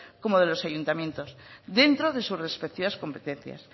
como de los ayuntamientos dentro de sus respectivas competencias